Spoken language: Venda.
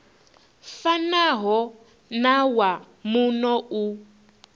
fanaho na wa muno u